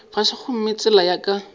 fase gomme tsela ya ka